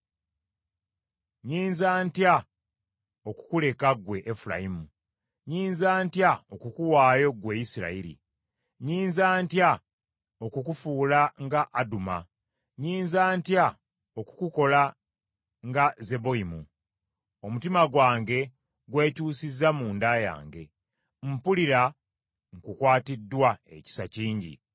“Nnyinza ntya okukuleka ggwe Efulayimu? Nnyinza ntya okukuwaayo ggwe Isirayiri? Nnyinza ntya okukufuula nga Aduma? Nnyinza ntya okukukola nga Zeboyimu? Omutima gwange gwekyusiza munda yange, Mpulira nkukwatiddwa ekisa kingi.